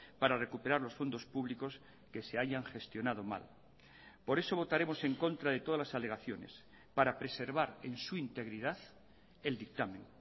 para recuperar los fondos públicos que se hayan gestionado mal por eso votaremos en contra de todas las alegaciones para preservar en su integridad el dictamen